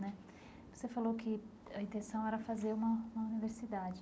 Né você falou que a intenção era fazer uma uma universidade.